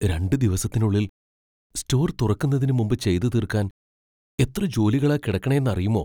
രണ്ട് ദിവസത്തിനുള്ളിൽ സ്റ്റോർ തുറക്കുന്നതിന് മുമ്പ് ചെയ്തു തീർക്കാൻ എത്ര ജോലികളാ കിടക്കണേന്നറിയുമോ.